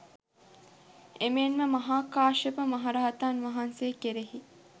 එමෙන්ම මහා කාශ්‍යප මහරහතන් වහන්සේ කෙරෙහි